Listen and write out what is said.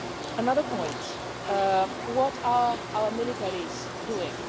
Another point what are our militaries doing?